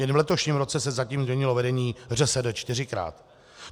Jen v letošním roce se zatím vyměnilo vedení ŘSD čtyřikrát.